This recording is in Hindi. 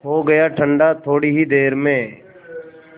हो गया ठंडा थोडी ही देर में